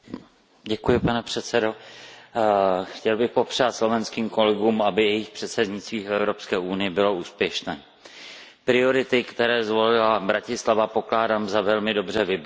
Pane předsedající, chtěl bych popřát slovenským kolegům, aby jejich předsednictví v Evropské unii bylo úspěšné. Priority, které zvolila Bratislava, pokládám za velmi dobře vybrané.